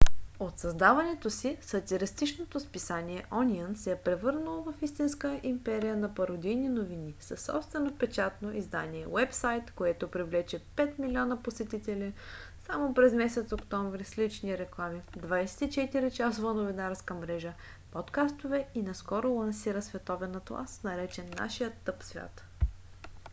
от създаването си сатиричното списание ониън се е превърнало в истинска империя на пародийни новини със собствено печатно издание уебсайт който привлече 5 милиона посетители само през месец октомври с лични реклами 24-часова новинарска мрежа подкастове и наскоро лансира световен атлас наречен нашият тъп свят